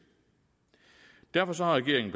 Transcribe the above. derfor har regeringen